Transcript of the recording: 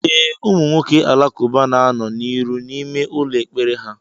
E, ụmụ nwoke Alakuba na anọ n'iru n'ime ụlọ ekpere ha.